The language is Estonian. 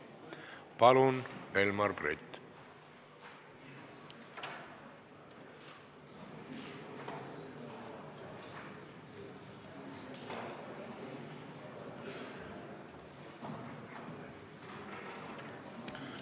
Palun, Velmar Brett!